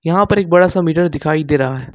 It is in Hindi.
यहां पर एक बड़ा सा मीटर दिखाई दे रहा है।